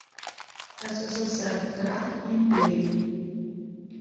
ссср крах империи